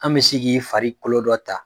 An bɛ se k'i fari kolo dɔ ta